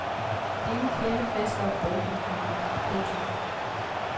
Ingen klirrende flasker og brovtende fyre. punktum